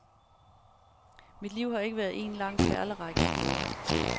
Mit liv har ikke været en lang perlerække af glæder.